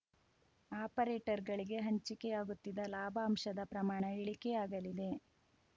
ಆಪರೇಟರ್‌ಗಳಿಗೆ ಹಂಚಿಕೆಯಾಗುತ್ತಿದ್ದ ಲಾಭಾಂಶದ ಪ್ರಮಾಣ ಇಳಿಕೆಯಾಗಲಿದೆ